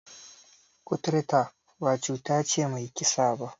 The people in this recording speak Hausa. Kuturta ba cuta ce mai kisa ba.